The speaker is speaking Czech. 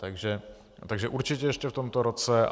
Takže určitě ještě v tomto roce.